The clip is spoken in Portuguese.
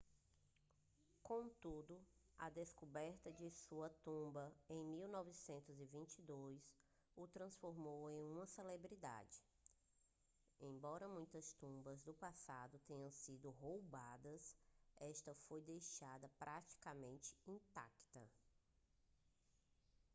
contudo a descoberta de sua tumba em 1922 o transformou em uma celebridade embora muitas tumbas do passado tenham sido roubadas esta foi deixada praticamente intacta